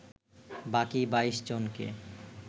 বাকি ২২ জনকে